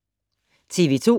TV 2